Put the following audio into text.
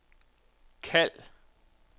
kald